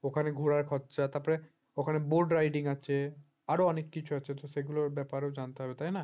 ওখানে ঘোরার খরচা তারপরে ওখানে boat riding আছে আরো অনেক কিছু আছে তো সেগুলোর ব্যাপারে জানতে হবে তাই না